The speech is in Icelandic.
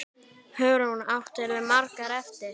Hugrún: Áttirðu margar eftir?